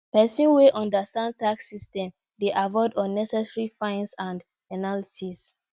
pesin wey understand tax system dey avoid unnecessary fines and penalties